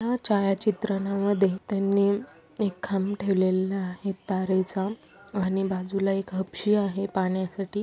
ह्या छायाचित्रणमध्ये त्यांनी एक खांब ठेवलेला आहे तारेचा आणि बाजूला एक हपशी आहे पाण्यासाठी.